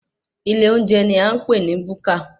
Ilé olóúnjẹ ní à ń pè ní búkà.